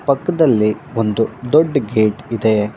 ಪಕ್ಕದಲ್ಲಿ ಒಂದು ದೊಡ್ಡ ಗೇಟ್ ಇದೆ.